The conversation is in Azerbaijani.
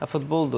Futboldur.